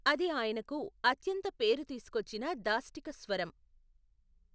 అది ఆయనకు అత్యంత పేరు తీసుకొచ్చిన దాష్టీక స్వరం.